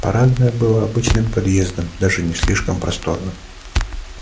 парадное было обычным подъездом даже не слишком просторным